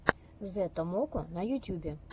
зэ томоко на ютюбе